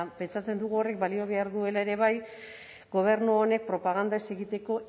pentsatzen dugu horrek balio behar duela ere bai gobernu honek propaganda ez egiteko